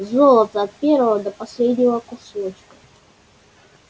золото от первого до последнего кусочка